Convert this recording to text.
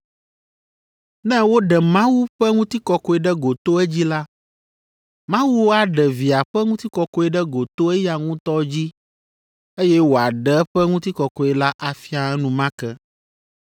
Ne woɖe Mawu ƒe ŋutikɔkɔe ɖe go to edzi la, Mawu aɖe Via ƒe ŋutikɔkɔe ɖe go to eya ŋutɔ dzi, eye wòaɖe eƒe ŋutikɔkɔe la afia enumake.